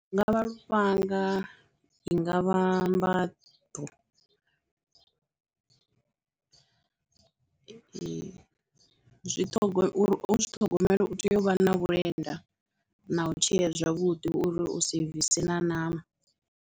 Hu nga vha lufhanga, i nga vha mbaḓo, zwi ṱhogo uri u zwi ṱhogomela u tea u vha na vhulenda na u tshea zwavhuḓi uri u si bvise na ṋama.